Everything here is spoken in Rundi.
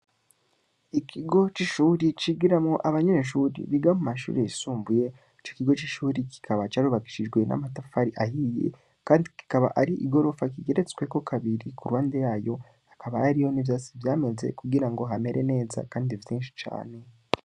Ikigo c'Ishure cigiramwo Abanyeshure Biga mumashure yisumbuye, Ico kigo c'ishure kikaba carubakishijwe Amatafari ahiye, Kandi kikaba Ari igorofa rigeretswe kabiri, Kuruhande wayo, hakaba hariyo n'Ivyatsi Vyameze kugira hamere neza. Kandi vyinshi cane.